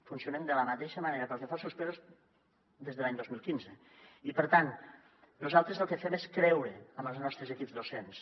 funcionem de la mateixa manera pel que fa als suspesos des de l’any dos mil quinze i per tant nosaltres el que fem és creure en els nostres equips docents